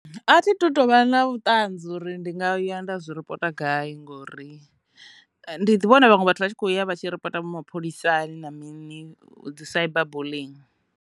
A thi tu tovha na vhuṱanzi uri ndi nga ya nda zwi ripota gai ngori ndi ḓi vhona vhaṅwe vhathu vha tshi kho ya vha tshi ripota mapholisani na mini dzi cyberbulling.